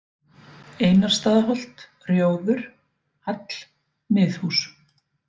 Einarsstaðaholt, Rjóður, Hall, Miðhús